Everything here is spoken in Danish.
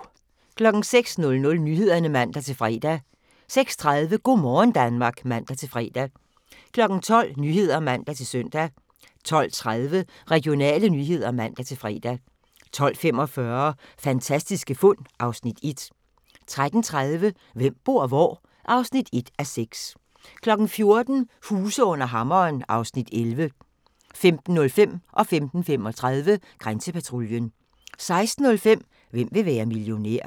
06:00: Nyhederne (man-fre) 06:30: Go' morgen Danmark (man-fre) 12:00: Nyhederne (man-søn) 12:30: Regionale nyheder (man-fre) 12:45: Fantastiske fund (Afs. 1) 13:30: Hvem bor hvor? (1:6) 14:00: Huse under hammeren (Afs. 11) 15:05: Grænsepatruljen 15:35: Grænsepatruljen 16:05: Hvem vil være millionær?